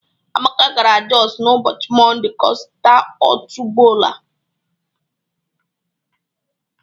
Amaka gara Jọs n'ụbọchị Mọnde ka ọ zụta otuboala.